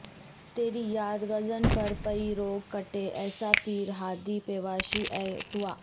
تیری یاد غضنفر پئی روگ کٹے ایسا پیر ہادی پیشوا ایں توں